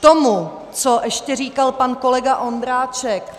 K tomu, co ještě říkal pan kolega Ondráček.